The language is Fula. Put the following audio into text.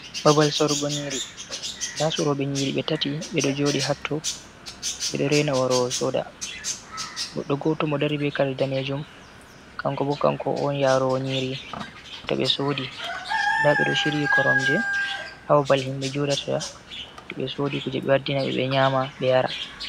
Babal sorugo nyiri, nda sorobe nyiri ɓe tati ɓedo joɗi hatto bedot rena warowo soda, goɗɗo goto mo ɗo dari be kare danejum kanko bo kanko on yarowo nyiri to ɓe sodi, nda ɓe ɗo shirii koromje ha babal himɓɓe joɗata to ɓe sodi kuje, ɓe wadina ɓe, ɓe nyama ɓe yara.